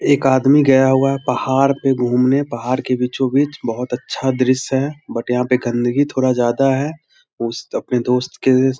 एक आदमी गया हुआ है पहाड़ पे घूमने पहाड़ के बीचो बीच बहोत अच्छा दृश्य है बट यहाँ पे गन्दगी थोड़ा ज्यादा है उस अपने दोस्त के --